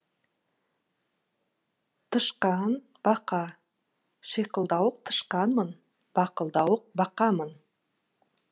тышқан бақа шиқылдауық тышқанмын бақылдауық бақамын